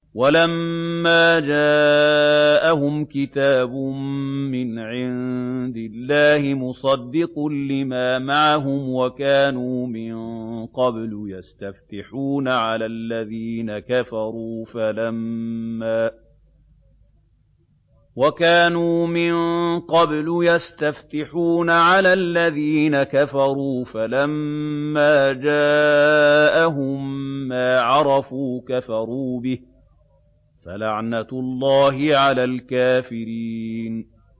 وَلَمَّا جَاءَهُمْ كِتَابٌ مِّنْ عِندِ اللَّهِ مُصَدِّقٌ لِّمَا مَعَهُمْ وَكَانُوا مِن قَبْلُ يَسْتَفْتِحُونَ عَلَى الَّذِينَ كَفَرُوا فَلَمَّا جَاءَهُم مَّا عَرَفُوا كَفَرُوا بِهِ ۚ فَلَعْنَةُ اللَّهِ عَلَى الْكَافِرِينَ